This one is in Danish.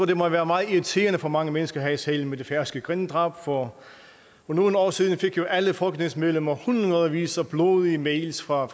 det må være meget irriterende for mange mennesker her i salen med det færøske grindedrab for for nogle år siden fik alle folketingsmedlemmer hundredvis af blodige mails fra